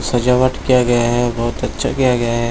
सजावट किया गया है बहुत अच्छा किया गया है।